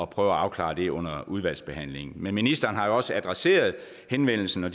prøve at afklare det under udvalgsbehandlingen men ministeren har jo også adresseret henvendelsen og